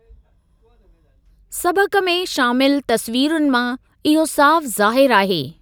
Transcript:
सबक़ में शामिलु तस्वीरुनि मां इहो साफ़ु ज़ाहिरु आहे।